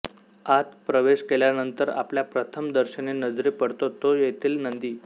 आत प्रवेश केल्यानंतर आपल्या प्रथम दर्शनी नजरी पडतो तो येथील नंदी